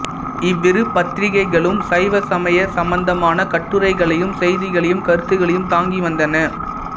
இவ்விரு பத்திரிகைகளும் சைவ சமயம் சம்பந்தமான கட்டுரைகளையும் செய்திகளையும் கருத்துகளையும் தாங்கி வந்தன